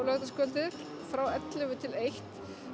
laugardagskvöldið frá ellefu til eitt